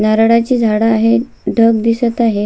नारळाची झाड आहेत ढग दिसत आहे.